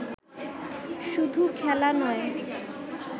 শুধু খেলা নয়